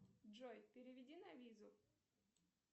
джой переведи на визу